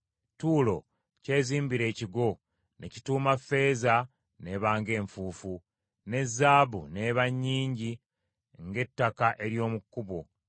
Ttuulo kyezimbira ekigo ne kituuma ffeeza n’eba ng’enfuufu, ne zaabu n’eba nnyingi ng’ettaka ery’omu kkubo.